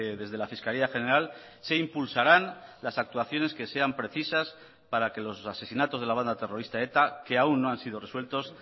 desde la fiscalía general se impulsarán las actuaciones que sean precisas para que los asesinatos de la banda terrorista eta que aún no han sido resueltos